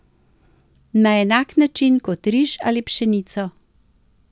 Na enak način kot riž ali pšenico.